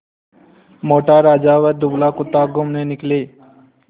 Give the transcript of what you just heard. मोटा राजा व दुबला कुत्ता घूमने निकले